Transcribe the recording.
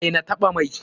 Daina taɓa mai!